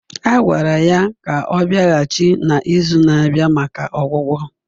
A gwara ya ka ọ bịaghachi na izu na-abịa maka ọgwụgwọ